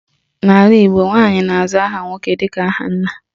N'ala Igbo, nwaanyị na-aza aha nwoke dịka aha nna.